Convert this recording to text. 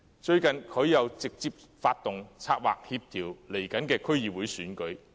最近，他又直接發動、策劃及協調將會舉行的區議會選舉。